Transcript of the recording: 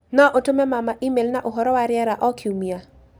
no ũtũme mama e-mail na ũhoro wa rĩera o kiumia